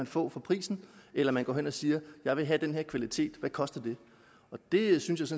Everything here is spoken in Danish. få for prisen eller man går hen og siger jeg vil have den her kvalitet hvad koster det det synes